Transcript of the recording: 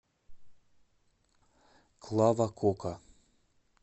клава кока